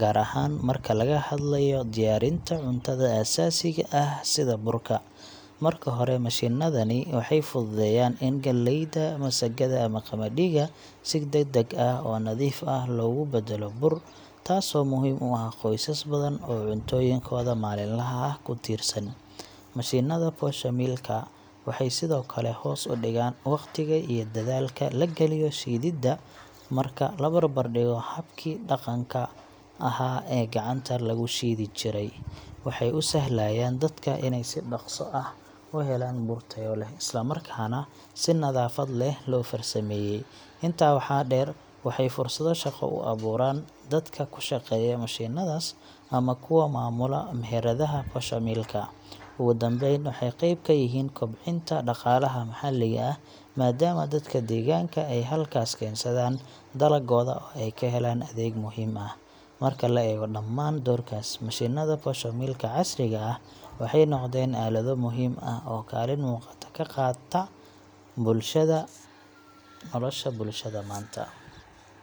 gaar ahaan marka laga hadlayo diyaarinta cuntada aasaasiga ah sida burka. Marka hore, mashiinnadani waxay fududeeyaan in galleyda, masagada ama qamadiga si degdeg ah oo nadiif ah loogu badalo bur, taasoo muhiim u ah qoysas badan oo cuntooyinkooda maalinlaha ah ku tiirsan. Mashiinnada poshomill ka waxay sidoo kale hoos u dhigaan waqtiga iyo dadaalka la galiyo shiididda, marka la barbardhigo habkii dhaqanka ahaa ee gacanta lagu shiidi jiray. Waxay u sahlayaan dadka inay si dhakhso ah u helaan bur tayo leh, isla markaana si nadaafad leh loo farsameeyay. Intaa waxaa dheer, waxay fursado shaqo u abuuraan dadka ku shaqeeya mashiinnadaas ama kuwa maamula meheradaha poshomill-ka. Ugu dambeyn, waxay qeyb ka yihiin kobcinta dhaqaalaha maxalliga ah, maadaama dadka deegaanka ay halkaas keensadaan dalaggooda oo ay ka helaan adeeg muhiim ah. Marka la eego dhamaan doorkaas, mashiinnada poshomill ka casriga ah waxay noqdeen aalado muhiim ah oo kaalin muuqata ka qaata nolosha bulshada maanta.